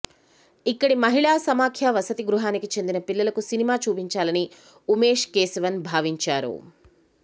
ఇక్కడి మహిళా సమాఖ్య వసతి గృహానికి చెందిన పిల్లలకు సినిమా చూపించాలని ఉమేష్ కేశవన్ భావించారు